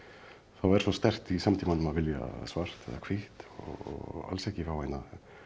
er svo sterkt í samtímanum að vilja svart eða hvítt og alls ekki fá hina